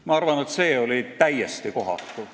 Ma arvan, et see oli täiesti kohatu.